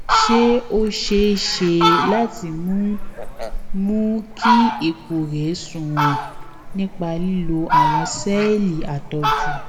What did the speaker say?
ṣé ó ṣeé ṣe láti mú mú kí ipò rè sunwòn nípa lílo àwọn séèlì àtọjú